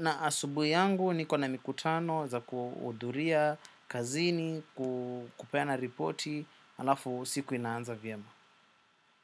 Na asubuhi yangu niko na mikutano za kuhudhuria, kazini, kupeana ripoti. Halafu siku inaanza vyema.